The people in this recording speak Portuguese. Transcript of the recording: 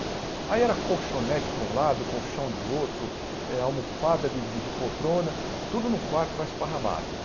Aí era colchonete para um lado, colchão de outro, almofada de de de poltrona, tudo num quarto lá esparramado.